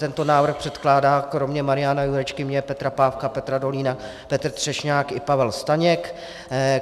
Tento návrh předkládá kromě Mariana Jurečky, mě, Petra Pávka, Petra Dolínka, Petr Třešňák i Pavel Staněk.